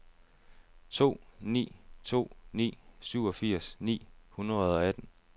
to ni to ni syvogfirs ni hundrede og atten